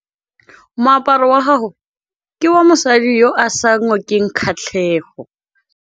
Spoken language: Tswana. Moaparô wa gagwe ke wa mosadi yo o sa ngôkeng kgatlhegô.